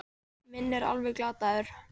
Minn er alveg glataður.